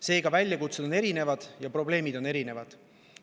Seega on väljakutsed ja probleemid erinevad.